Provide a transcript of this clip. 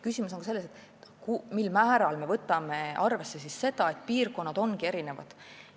Küsimus on ka selles, mil määral me võtame arvesse seda, et piirkonnad ongi erinevad.